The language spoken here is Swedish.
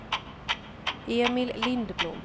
Emil Lindblom